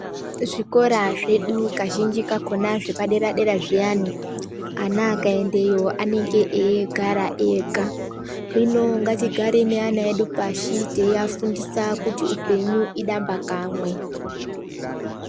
Zvikora zvedu, kazhinji zvepadera-dera zviya, ana akaendayo anenge eigara ega. Hino ngatigare neana edu pashi teiafundisa kuti upenyu idamba kamwe.